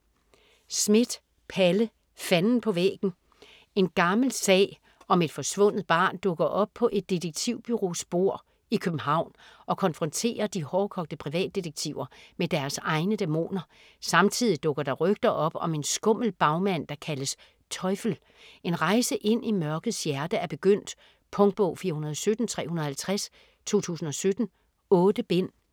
Schmidt, Palle: Fanden på væggen En gammel sag om et forsvundet barn dukker op på et detektivbureaus bord i København, og konfronterer de hårdkogte privatdetektiver med deres egne dæmoner. Samtidig dukker der rygter op om en skummel bagmand der kaldes "Teufel". En rejse ind i mørkets hjerte er begyndt. Punktbog 417350 2017. 8 bind.